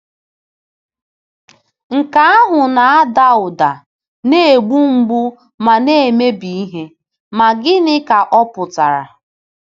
Nke ahụ na-ada ụda na-egbu mgbu ma na-emebi ihe, ma gịnị ka ọ pụtara?